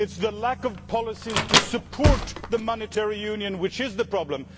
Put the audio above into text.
It is the lack of policies to support the monetary union that is the problem.